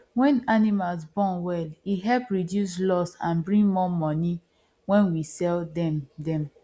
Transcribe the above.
when animal born well e help reduce loss and bring more money when we sell dem dem